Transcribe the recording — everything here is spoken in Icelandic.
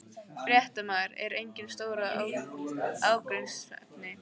Fréttamaður: Eru engin stór ágreiningsefni?